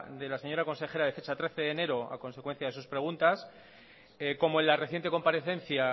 de la señora consejera de fecha de trece de enero a consecuencia de sus preguntas como en la reciente comparecencia